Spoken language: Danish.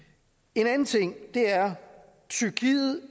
en anden ting er at tyrkiet